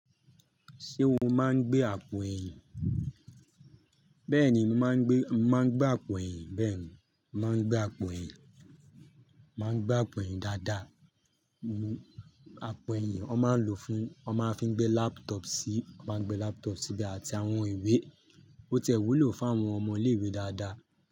Ṣé o ma ń gbé àpò ẹ̀yìn? Bẹ́ẹ̀ni, mo máa ń gbé, mo máa ń gbé àpò ẹ̀yìn. Bẹ́ẹ̀ni, mo màá ń gbé àpò ẹ̀yìn, màá gbé àpò ẹ̀yìn dáadáa. Àpò ẹ̀yìn wọ́n máa ń lò fún, wọ́n máa ń fi gbé laptop sí, wọ́n máa ń gbé laptop sí ibe àti àwọn ìwé. Ó ti ẹ wúlò fún àwọn ọmọ ilé ìwé dáadáa.